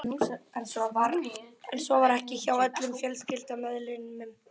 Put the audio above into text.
En svo var ekki hjá öllum fjölskyldumeðlimum.